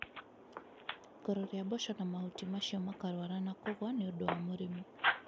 Ikoro ria mboco na mahuti macio makarwara na kũgũa niũndũ wa mũrimũ